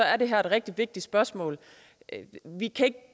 er det her et rigtig vigtigt spørgsmål vi kan ikke